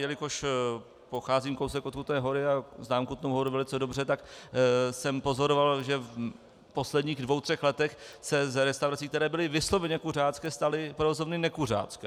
Jelikož pocházím kousek od Kutné Hory a znám Kutnou Horu velice dobře, tak jsem pozoroval, že v posledních dvou třech letech se z restaurací, které byly vysloveně kuřácké, staly provozovny nekuřácké.